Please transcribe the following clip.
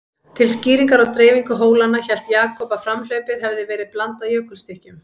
Til skýringar á dreifingu hólanna, hélt Jakob að framhlaupið hefði verið blandað jökulstykkjum.